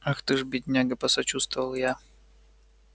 ах ты ж бедняга посочувствовал я